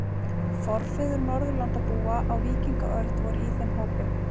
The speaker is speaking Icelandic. Forfeður Norðurlandabúa á víkingaöld voru í þeim hópi.